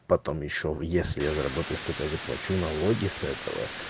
потом ещё в если я заработаю что-то я заплачу налоги с этого